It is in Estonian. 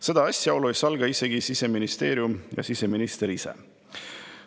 Seda asjaolu ei salga ka Siseministeerium ja siseminister ise.